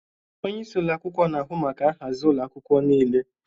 Onye isi ụlọ akwụkwọ na-ahụ maka nhazi ụlọ akwụkwọ niile.